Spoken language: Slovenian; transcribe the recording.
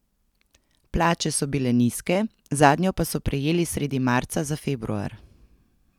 Plače so bile nizke, zadnjo pa so prejeli sredi marca za februar.